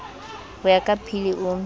ho ya ka pilir o